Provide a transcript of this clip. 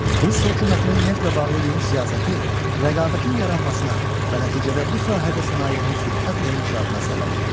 Rus hökumətinin neftlə bağlı yeni siyasəti rəqabətin yaranmasına və nəticədə bu sahədə sənayenin sürətlə inkişafına səbəb oldu.